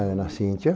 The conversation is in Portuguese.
A Ana Cíntia.